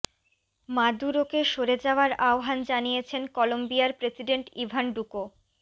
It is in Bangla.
মাদুরোকে সরে যাওয়ার আহবান জানিয়েছেন কলম্বিয়ার প্রেসিডেন্ট ইভান ডুকো